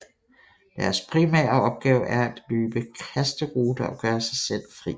Deres primære opgave er at løbe kasteruter og gøre sig selv fri